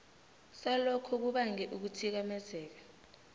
salokho kubange ukuthikamezeka